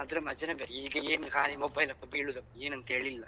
ಅದ್ರ ಮಜಾನೇ ಬೇರೆ ಈಗ ಏನು ಕಾಲಿ mobile ಅಂತ ಬೀಳುದು ಏನಂಥ ಹೇಳಿ ಇಲ್ಲ.